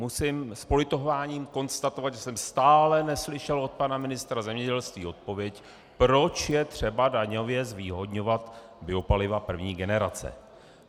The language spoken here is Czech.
Musím s politováním konstatovat, že jsem stále neslyšel od pana ministra zemědělství odpověď, proč je třeba daňově zvýhodňovat biopaliva první generace.